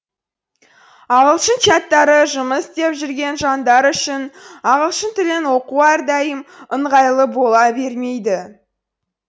ағылшын чаттарыжұмыс істеп жүрген жандар үшін ағылшын тілін оқу әрдайым ыңғайлы бола бермейді